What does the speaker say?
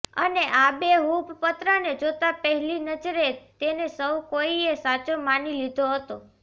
અને આબેહૂબ પત્રને જોતાં પહેલી નજરે તેને સૌ કોઈએ સાચો માની લીધો હતો